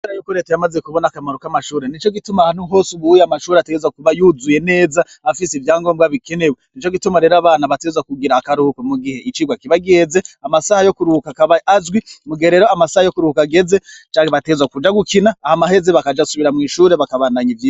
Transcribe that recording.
Kubera yuko Reta yamaze kubona akamaro k'amashure, nico gituma ahantu hose ubu uye amashure ategerezwa kuba yuzuye neza afise ivyangombwa bikenewe. Nico gituma rero abana bategerezwa kugira akaruhuko mu gihe icigwa kiba giheze, amasaha yo kuruhuka akaba azwi, mu gihe rero amasaha yo kuruhuka ageze, bategerezwa kuja gukina, hama aheza bagasubira mw'ishure bakabandanya ivyigwa.